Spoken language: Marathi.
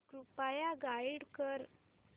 कृपया गाईड कर